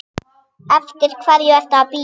Eftir hverju ertu að bíða?